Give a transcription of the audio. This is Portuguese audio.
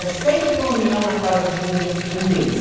É sempre uma união na casa de um da de um deles.